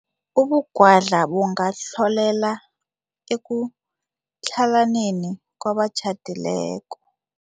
Ubungwadla bungarholela ekutlhalaneni kwabatjhadileko.